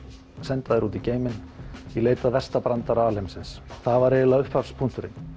senda þær út í geiminn í leit að versta brandara alheimsins það var eiginlega upphafspunkturinn